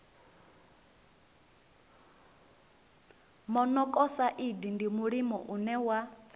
monokosaidi ndi mulimo une wa